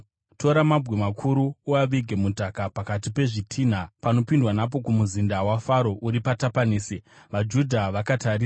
“Tora mabwe makuru uavige mudhaka pakati pezvitinha panopindwa napo kumuzinda waFaro uri paTapanesi, vaJudha vakatarisa.